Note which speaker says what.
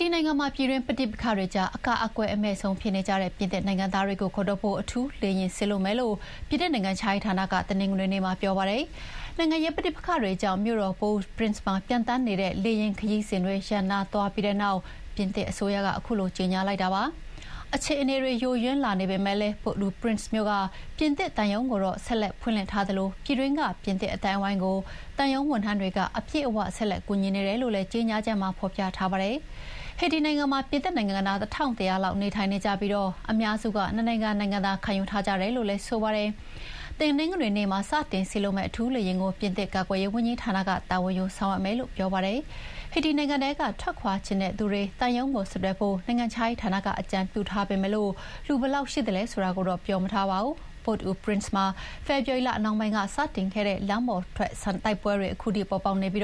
Speaker 1: တီနိုင်ငံမှာ ပြည်တွင်းပဋိပက္ခတွေကြား အကာအကွယ်အမဲ့ဆုံးဖြစ်နေကြတဲ့ ပြင်သစ်နိုင်ငံသားတွေကိုခေါ်ထုတ်ဖို့ အထူးလေယာဥ်စေလွှတ်မယ်လို့ ပြင်သစ်နိုင်ငံခြားရေးဌာနက တနင်္ဂနွေနေ့မှာ ပြောပါတယ်။ နိုင်ငံရေးပဋိပက္ခတွေကြောင့် မြို့တော် Port-au-Prince ကို ပျံသန်းနေတဲ့ လေယာဥ်ခရီးစဥ်တွေ ရပ်နားသွားပြီးတဲ့နောက် ပြင်သစ်အစိုးရက ခုလိုကြေညာလိုက်တာပါ။ အခြေအနေတွေ ယိုယွင်းလာပေမယ့် Port-au-Prince မြို့က ပြင်သစ်သံရုံးကိုတော့ ဆက်လက်ဖွင့်လှစ်ထားသလို ပြည်တွင်းက ပြင်သစ်အသိုင်းအဝိုင်းကို သံရုံးဝန်ထမ်းတွေက အပြည့်အဝ ဆက်လက်ကူညီနေပါတယ်လို့လည်း ကြေညာချက်မှာဖော်ပြထားပါတယ်။ ဟေတီနိုင်ငံမှာ ပြင်သစ်နိုင်ငံသား ၁,၁၀၀ လောက်နေထိုင်နေကြပြီး အများစုက နှစ်နိုင်ငံ နိုင်ငံသားခံယူထားကြတယ်လို့လည်း ပြင်သစ် နိုင်ငံခြားရေးဌာနက ပြောပါတယ်။ တနင်္ဂနွေနေ့မှာ စတင်စေလွှတ်မယ့် အထူးလေယာဥ်ကို ပြင်သစ်ကာကွယ်ရေးဝန်ကြီးဌာနက တာဝန်ယူဆောင်ရွက်မယ်လို့ပြောပါတယ်။ ဟေတီနိုင်ငံထဲက ထွက်ခွါချင်တဲ့သူတွေ သံရုံးကို ဆက်သွယ်ဖို့ နိုင်ငံခြားရေးဌာနကအကြံပြုထားပေမယ့် လူဘယ်လောက်ရှိမလဲဆိုတာကိုတော့ ပြောမထားပါဘူး။ Port-au-Prince မှာ ဖေဖော်ဝါရီလနှောင်းပိုင်းမှာစတင်ခဲ့တဲ့ လမ်းပေါ်ကတိုက်
Speaker 2: ပွဲတွေ ခုထိပေါ်ပေါက်နေပြီး